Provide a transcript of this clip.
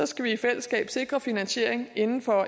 skal vi i fællesskab sikre finansiering inden for